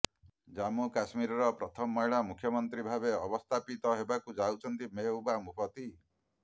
ଜମ୍ମୁ କଶ୍ମୀରର ପ୍ରଥମ ମହିଳା ମୁଖ୍ୟମନ୍ତ୍ରୀ ଭାବେ ଅବସ୍ଥାପିତ ହେବାକୁ ଯାଉଛନ୍ତି ମେହବୁବା ମୁଫତି